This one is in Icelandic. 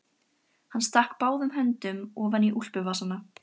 Hann stakk báðum höndum ofan í úlpuvasana.